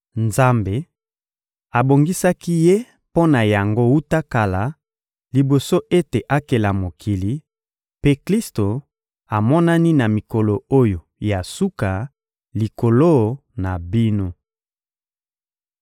Nzambe abongisaki Ye mpo na yango wuta kala, liboso ete akela mokili, mpe Klisto amonani na mikolo oyo ya suka likolo na bino.